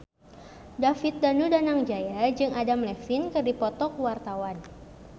David Danu Danangjaya jeung Adam Levine keur dipoto ku wartawan